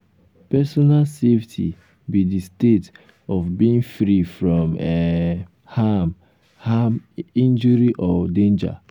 you know how pesin fit stay safe in di public place?